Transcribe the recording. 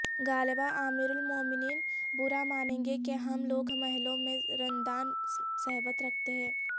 غالبا امیر المومنین برامانیں گے کہ ہم لوگ محلوں میں رندان صحبت رکھتے ہیں